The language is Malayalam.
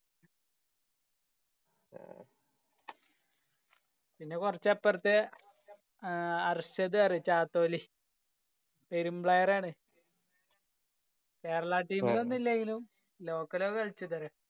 പിന്നെ കൊറച് അപ്രത്തെ അർഷദ് അറിയോ ചാത്തോലി പേരും player ആണ്. Kerala team യിലൊന്നു ഇല്ലെങ്കിലും local ഒക്കെ കളിച്ചതാണ്